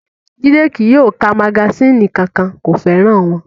Jídé kí yóò ka magasínì kankan, kò fẹ́ràn wọn